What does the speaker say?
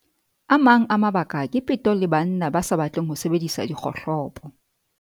A mang a mabaka ke peto le banna ba sa batleng ho sebedisa dikgohlopo.